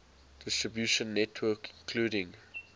distribution network including